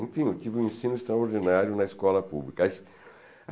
Enfim, eu tive um ensino extraordinário na escola pública.